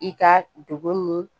I ka dugu nin